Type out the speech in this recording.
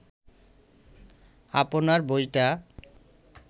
আপনার বইটা